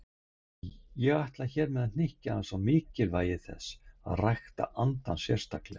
Ég ætla hér að hnykkja aðeins á mikilvægi þess að rækta andann sérstaklega.